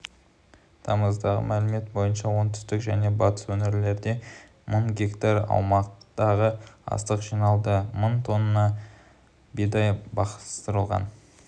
тамыздағы мәлімет бойынша оңтүстік және батыс өңірлерде мың гектар аумақтағы астық жиналды мың тонна бидай бастырылған